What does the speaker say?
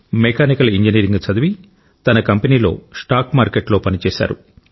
mechanical engineering చదివి తన కంపెనీలో స్టాక్ మార్కెట్లో పని చేశారు